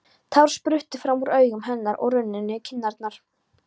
Tár spruttu fram úr augum hennar og runnu niður kinnarnar.